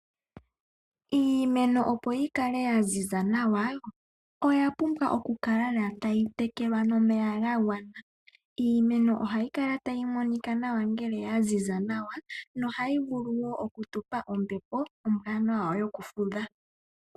Iimeno opo yi kale ya ziza nawa, oya pumbwa oku kala lela tayi tekelwa nomeya ga gwana. Iimeno ohayi kala tayi monika nawa ngele ya ziza nawa, nohayi vulu woo okutupa ombepo ombwaanawa yokufudha.